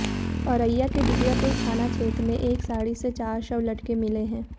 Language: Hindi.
औरैया के दिबियापुर थाना क्षेत्र में एक साड़ी से चार शव लटके मिले हैं